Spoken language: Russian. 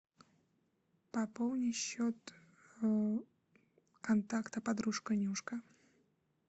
пополни счет контакта подружка нюшка